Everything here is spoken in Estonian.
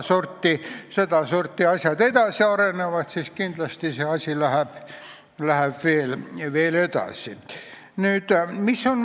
Kui sedasorti asjad edasi arenevad, siis kindlasti läheb ka see asi veel edasi.